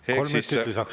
Kolm minutit lisaks.